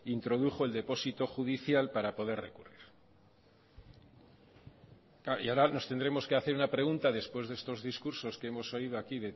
introdujo el depósito judicial para poder recurrir y ahora nos tendremos que hacer una pregunta después de estos discursos que hemos oído aquí